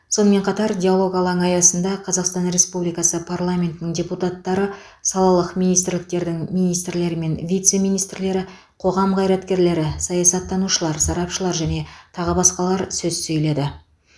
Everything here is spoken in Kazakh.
сонымен қатар диалог алаңы аясында қазақстан республикасы парламентінің депутаттары салалық министрліктердің министрлері мен вице министрлері қоғам қайраткерлері саясаттанушылар сарапшылар және тағы басқалар сөз сөйледі